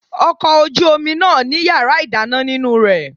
Ọkọ̀ ojú omi náà ní yàrá ìdáná nínú rẹ̀.